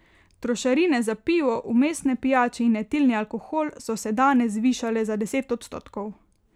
Trošarine za pivo, vmesne pijače in etilni alkohol so se danes zvišale za deset odstotkov.